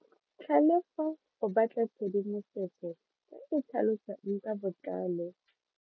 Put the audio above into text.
Tlhalefo o batla tshedimosetso e e tlhalosang ka botlalo.